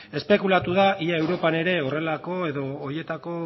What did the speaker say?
espekulatu da ea europan ere horrelako edo horietako